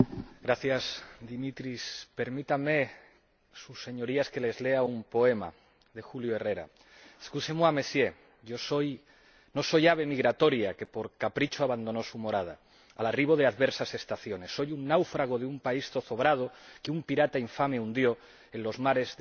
Señor Presidente. Permítanme, sus Señorías, que les lea un poema de Julio Herrera no soy ave migratoria que por capricho abandonó su morada al arribo de adversas estaciones soy un náufrago de un país zozobrado que un pirata infame hundió en los mares de la miseria.